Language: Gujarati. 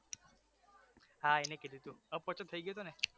હા એને કીધુ હતુ અપચો થઈ ગયો હતો ને